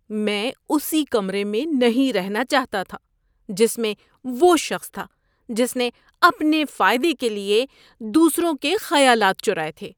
میں اسی کمرے میں نہیں رہنا چاہتا تھا جس میں وہ شخص تھا جس نے اپنے فائدے کے لیے دوسروں کے خیالات چرائے تھے۔